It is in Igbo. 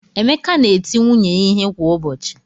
Emeka na-eti nwunye ya ihe kwa ụbọchị.